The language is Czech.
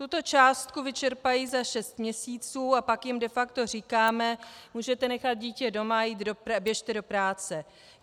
Tuto částku vyčerpají za šest měsíců a pak jim de facto říkáme - můžete nechat dítě doma a běžte do práce.